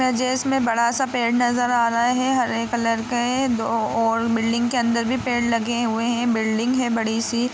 इसमें बड़ा सा पेड़ नजर आ रहा है हरे कलर के है दो और बिल्डिंग के अंदर भी पेड़ लगे हुए है बिल्डिंग है बड़ी सी।